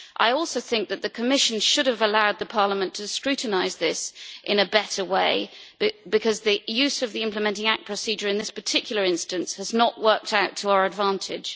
I also think that the Commission should have allowed Parliament to scrutinise this in a better way, because the use of the Implementing Act procedure in this particular instance has not worked out to our advantage.